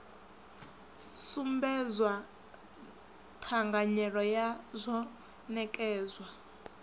sumbedzwa thanganyelo ya rzwo nekedzwa